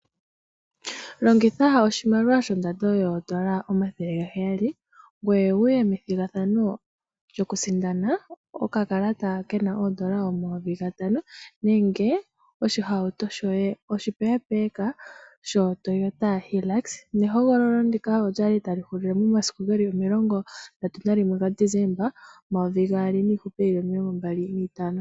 Longitha oshimaliwa shondando yoondola omathele gaheyali ngoye wuye methigathano lyoku sindana okakalata koondola omayovi gatano, nenge oshihauto shoye oshipeepeeka. Nehogololo ndika olya li ta li hulile momasiku geli 31 ga Desemba 2025.